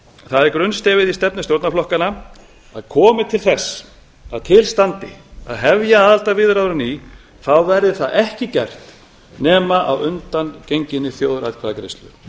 það er grunnstefið í stefnu stjórnarflokkanna að komi til þess að til standi að hefja aðildarviðræður á ný verði það ekki gert nema að undangenginni þjóðaratkvæðagreiðslu